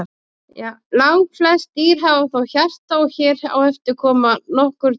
Langflest dýr hafa þó hjarta og hér á eftir koma nokkur dæmi.